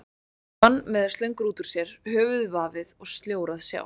Þarna lá hann með slöngur út úr sér, höfuðið vafið og sljór að sjá.